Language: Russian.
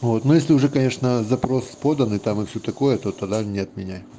вот ну если уже конечно запрос подан и там и всё такое то тогда не отменяй